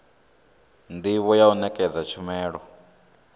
ndivho ya u nekedza tshumelo